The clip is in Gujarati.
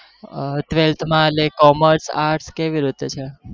Twelth માં એટલે commerce arts કેવી રીતે છે